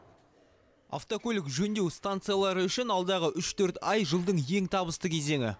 автокөлік жөндеу станциялары үшін алдағы үш төрт ай жылдың ең табысты кезеңі